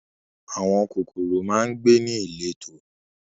Àwọn kòkòrò máa ń gbé ní ìletò